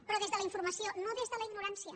però des de la informació no des de la ignorància